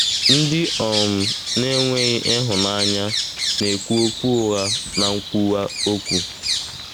Ndị um na-enweghị ịhụnanya na-ekwu okwu ụgha na nkwuwa okwu.